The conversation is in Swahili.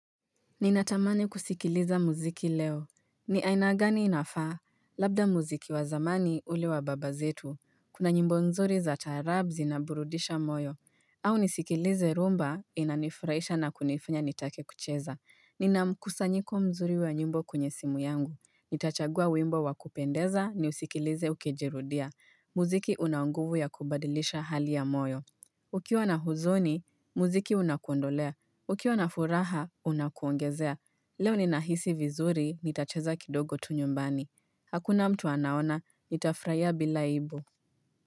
Ninatamani kusikiliza muziki leo. Ni aina gani inafaa. Labda muziki wa zamani, ule wa baba zetu. Kuna nyimbo nzuri za taarab zinaburudisha moyo. Au nisikilize rhumba inanifurahisha na kunifanya nitake kucheza. Nina mkusanyiko mzuri wa nyimbo kwenye simu yangu. Nitachagua w imbo wa kupendeza niusikilize ukijirudia. Muziki una nguvu ya kubadilisha hali ya moyo. Ukiwa na huzuni, muziki unakuondolea. Ukiwa na furaha, unakuongezea. Leo ninahisi vizuri, nitacheza kidogo tu nyumbani. Hakuna mtu anaona, nitafurahia bila ibu.